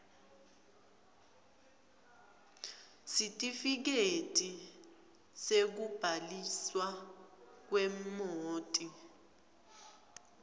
sitifiketi sekubhaliswa kwemoti